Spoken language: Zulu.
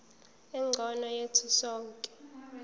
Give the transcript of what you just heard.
engcono yethu sonke